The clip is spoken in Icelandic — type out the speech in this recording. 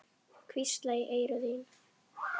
Hvísla í eyru þín.